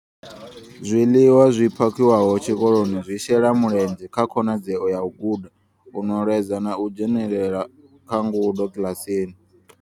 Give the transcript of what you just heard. Zwiḽiwa zwi phakhiwaho tshikoloni zwi shela mulenzhe kha khonadzeo ya u guda, u nweledza na u dzhenela kha ngudo kiḽasini.